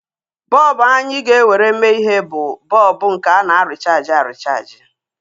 Bọlbụ anyị ga-ewere mee ihe bụ bọlbụ nke ana-erichaaji erichaaji